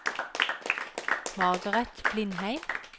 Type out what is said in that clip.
Margaret Blindheim